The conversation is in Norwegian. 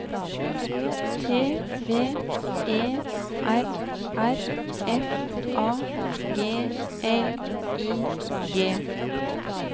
T V E R R F A G L I G